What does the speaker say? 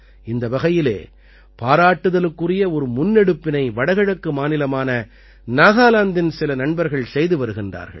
இந்த வகையிலே பாராட்டுதலுக்குரிய ஒரு முன்னெடுப்பினை வடகிழக்கு மாநிலமான நாகாலாந்தின் சில நண்பர்கள் செய்து வருகின்றார்கள்